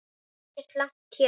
Það er ekki langt héðan.